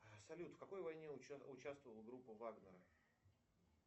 салют в какой войне участвовала группа вагнера